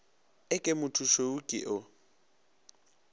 e ke mothomošweu ke o